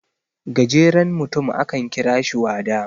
gajerenutum akan kira shi wada